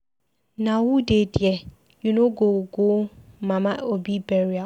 Na who dey there? You no go go Mama Obi burial?